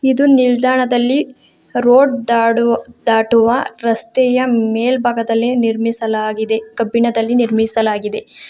ಇದು ನಿಲ್ದಾಣದಲ್ಲಿ ರೋಡ್ ದಾಡು ದಾಟುವ ರಸ್ತೆಯ ಮೇಲ್ಭಾಗದಲ್ಲಿ ನಿರ್ಮಿಸಲಾಗಿದೆ ಕಬ್ಬಿಣದಲ್ಲಿ ನಿರ್ಮಿಸಲಾಗಿದೆ.